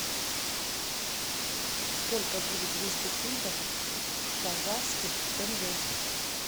сколько будет двести фунтов в казахских тенге